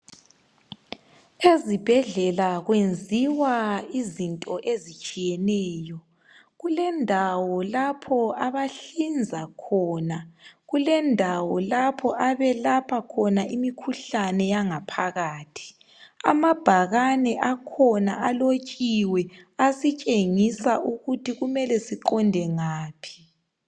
Ezibhedlela kwenziwa izinto ezitshiyeneyo. Kulendawo lapho abahlinza khona, kulendawo lapho abelapha khona imikhuhlane yangaphakathi. Amabhakane akhona alotshiwe asitshengisa ukuthi kumele siqonde ngaphi.